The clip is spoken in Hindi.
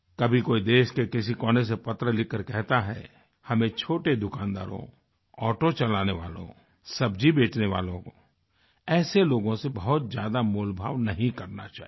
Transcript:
कभी कोई देश के किसी कोने से पत्र लिखकर कहता है हमें छोटे दुकानदारों ऑटो चलाने वालों सब्जी बेचने वालों ऐसे लोगों से बहुत ज़्यादा मोलभाव नहीं करना चाहिये